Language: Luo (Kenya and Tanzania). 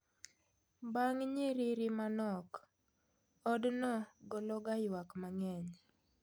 Bang nyiriri manok od no gologa ywak mang'eny